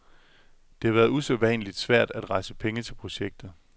Det har været usædvanligt svært at rejse penge til projektet.